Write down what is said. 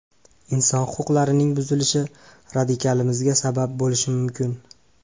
Inson huquqlarining buzilishi radikalizmga sabab bo‘lishi mumkin.